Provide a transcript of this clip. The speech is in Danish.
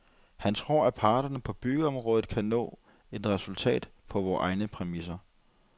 Han tror, at parterne på byggeområdet kan nå et resultat på vores egne præmisser.